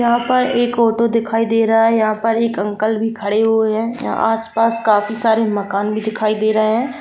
यहाँ पर एक ऑटो दिखाई दे रहा है यहाँ पर एक अंकल भी खड़े हुए है यहाँ आस-पास काफी सारे माकन भी दिखाई दे रहे है।